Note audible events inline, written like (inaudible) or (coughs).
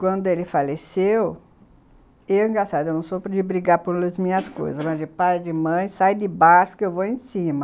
Quando ele faleceu, eu, engraçado, não sou de brigar pelas minhas coisas, (coughs) mas de pai e de mãe, sair de baixo, porque eu vou em cima.